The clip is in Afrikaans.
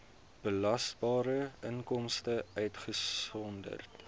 belasbare inkomste uitgesonderd